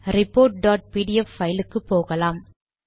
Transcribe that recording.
report dot PDF file க்கு போகலாம்